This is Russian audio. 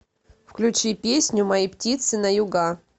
включи песню мои птицы на юга